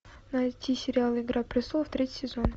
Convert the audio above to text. найти сериал игра престолов третий сезон